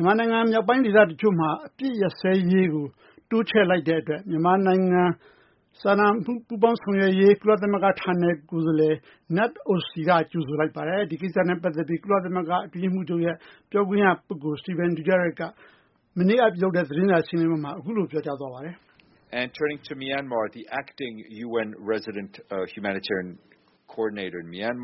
မြန်မာနိုင်ငံ မြောက်ပိုင်းဒေသ တချို့မှာ အပစ်ရပ်စဲရေးကို တိုးချဲ့လိုက်တဲ့ အတွက် မြန်မာနိုင်ငံ စာနာမှု ပူးပေါင်းဆောင်ရွက်ရေး ကုလသမဂ္ဂ ဌာနေကိုယ်စားလှယ် Knut Ostby က ကြိုဆိုလိုက်ပါတယ်။ ဒီကိစ္စနဲ့ ပတ်သက်ပြီး ကုလသမဂ္ဂ အတွင်းရေးမှူးချုပ်ရဲ့ပြောခွင့်ရ ပုဂ္ဂိုလ် Stephane Dujarric က မနေ့က လုပ်တဲ့ သတင်းစာ ရှင်းလင်းပွဲမှာ အခုလို ပြောကြားသွားပါတယ်။ မြန်